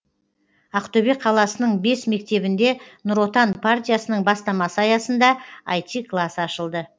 ақтөбе қаласының бес мектебінде нұр отан партиясының бастамасы аясында іт класс ашылды